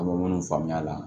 A bɛ minnu faamuya a la